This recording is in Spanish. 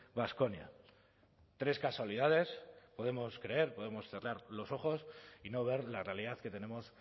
baskonia tres casualidades podemos creer podemos cerrar los ojos y no ver la realidad que tenemos